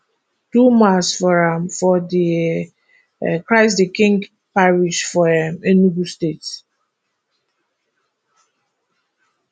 do mass for am for di um christ the king parish for um enugu state